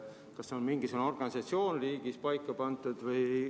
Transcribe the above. Kas on mingisugune töökorraldus riigis paika pandud?